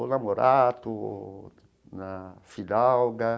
Ou na Morato, na Fidalga.